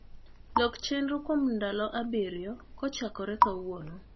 lok chenro kuom ndalo abirio kochakore kawuono